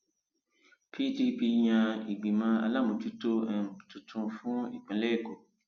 pdp yan ìgbìmọ aláàmójútó um tuntun fún ìpínlẹ èkó